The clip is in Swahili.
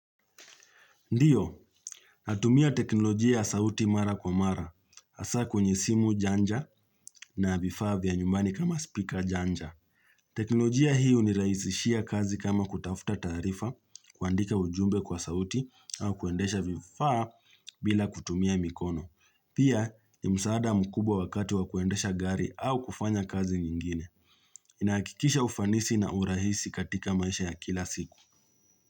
Ndiyo, natumia teknolojia ya sauti mara kwa mara, hasa kwenye simu janja na vifaa vya nyumbani kama speaker janja. Teknolojia hii hunirahisishia kazi kama kutafuta taarifa kuandika ujumbe kwa sauti au kuendesha vifaa bila kutumia mikono. Pia ni msaada mkubwa wakati wa kuendesha gari au kufanya kazi nyingine. Inahakikisha ufanisi na urahisi katika maisha ya kila siku.